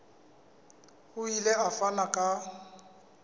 o ile a fana ka